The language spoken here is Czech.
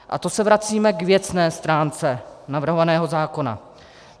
A to se vracíme k věcné stránce navrhovaného zákona.